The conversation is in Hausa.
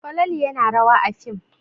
Falalu yana rawa a fim.